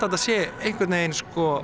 þetta sé einhvern veginn